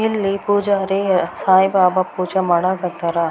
ಇಲ್ಲಿ ಪೂಜಾರಿ ಸಾಯಿಬಾಬ ಪೂಜೆ ಮಾಡಕತ್ತಾರ.